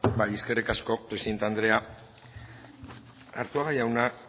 bai eskerrik asko presidente andrea arzuaga jauna